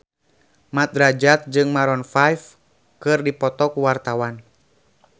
Mat Drajat jeung Maroon 5 keur dipoto ku wartawan